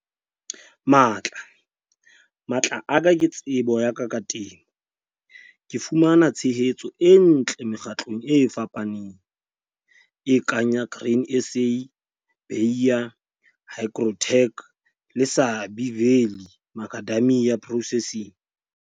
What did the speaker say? Matla. Matla a ka ke tsebo ya ka ka temo. Ke fumana tshehetso e ntle mekgatlong e fapaneng, e kang ya Grain SA, Bayer, Hygrotech le Sabie Valley Macadamia Processing.